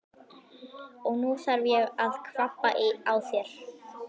Og nú þarf ég að kvabba á þér!